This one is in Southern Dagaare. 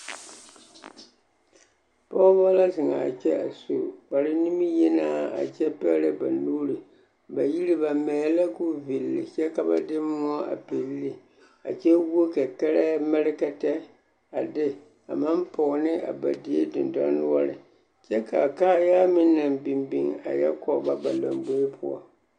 Pɔgebɔ la zeŋaa kyɛ a su kpare nimiyenaa a kyɛ pɛgerɛ ba nuuri a yiri ba mɛɛ la k'o villi kyɛ ka ba de moɔ a pilli ne a kyɛ wuo kɛkɛrɛɛ mɛrekɛtɛ a de a maŋ pɔge ne a die dendɔre noɔre kyɛ k'a kaayaa meŋ naŋ biŋ biŋ a yɔ kɔge ba ba lomboe poɔ.